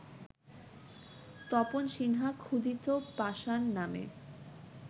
তপন সিনহা ‘ক্ষুধিত পাষাণ’ নামে